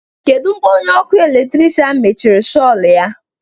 kedu mgbe onye ọkụ eletrik mechiri shol ya